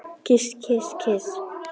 Kyss, kyss, kyss.